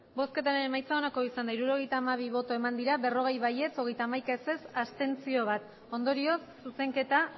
emandako botoak hirurogeita hamabi bai berrogei ez hogeita hamaika abstentzioak bat ondorioz zuzenketa